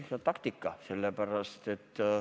Aga võib-olla see ongi lihtsalt taktika.